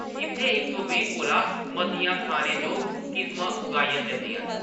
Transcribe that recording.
इत्थै इक सौ बीह् कोला मतियां खाने जोग किस्मां उगाइयां जंदियां न ।